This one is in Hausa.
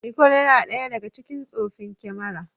Nikon yana ɗaya daga cikin tsoffin kamara.